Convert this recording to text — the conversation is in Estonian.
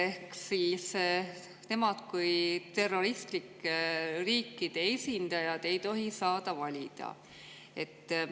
Ehk siis nemad kui terroristlike riikide esindajad ei tohi saada valida.